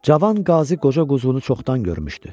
Cavan Qazi qoca quzğunu çoxdan görmüşdü.